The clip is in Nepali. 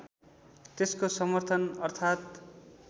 त्यसको समर्थन अर्थात